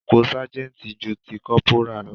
Ipò sergeant ju ti kọ́pórà lọ.